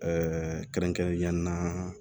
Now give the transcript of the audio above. kɛrɛnkɛrɛnnenya la